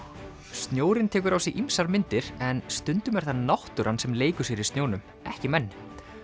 snjórinn tekur á sig ýmsar myndir en stundum er það náttúran sem leikur sér í snjónum ekki menn